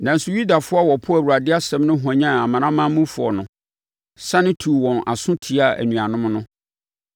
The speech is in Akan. Nanso, Yudafoɔ a wɔpoo Awurade asɛm no hwanyan amanamanmufoɔ no, sane tuu wɔn aso tiaa anuanom no.